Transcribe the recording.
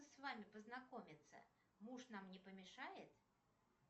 с вами познакомиться муж нам не помешает